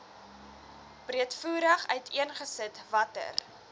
breedvoerig uiteengesit watter